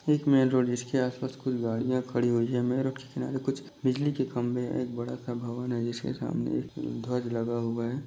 Main road जिसके आस पास कुछ गाड़ियां खड़ी हुई है के आगे कुछ बिजली के खंबे है एक बड़ा सा भवन है जिसके सामने एक ध्वज लगा हुआ है।